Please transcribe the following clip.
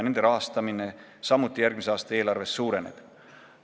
Nende rahastamine järgmise aasta eelarves samuti suureneb.